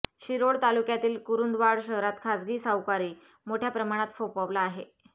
शिरोळ तालुक्यातील कुरुंदवाड शहरात खासगी सावकारी मोठ्या प्रमाणात फोफावला आहे